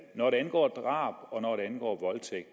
når det angår drab og når det angår voldtægt